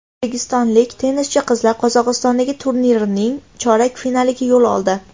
O‘zbekistonlik tennischi qizlar Qozog‘istondagi turnirning chorak finaliga yo‘l oldi.